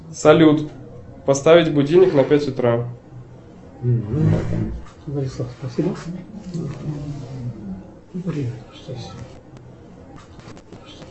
салют поставить будильник на пять утра